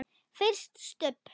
FYRIR STUBB!